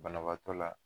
Banabaatɔ la